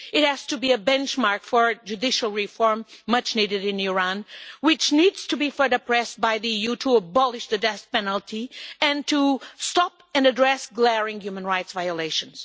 It has to be a benchmark for the judicial reform that is much needed in Iran, which needs to be further pressed by the EU to abolish the death penalty and to stop and address glaring human rights violations.